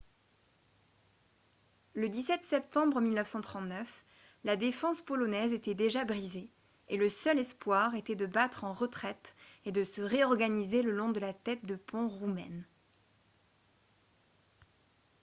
le 17 septembre 1939 la défense polonaise était déjà brisée et le seul espoir était de battre en retraite et de se réorganiser le long de la tête de pont roumaine